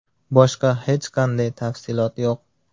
Boshqa hech qanday tafsilot yo‘q.